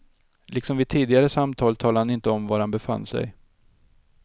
Liksom vid tidigare samtal talade han inte om var han befann sig.